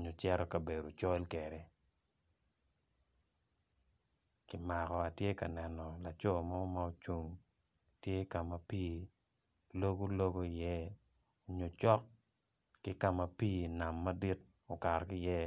nyo cito kabedo col kwede ki mako atye ka neno laco mo ma oruko tye ka ma pii logo logo iye kun tye cok ki kama pii nam madit oketo ki iye.